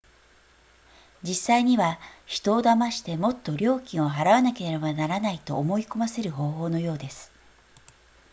実際には人を騙してもっと料金を払わなければならないと思い込ませる方法のようです